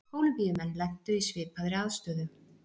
Kólumbíumenn lentu í svipaðri aðstöðu.